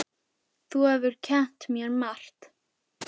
Þú hefur kennt mér margt.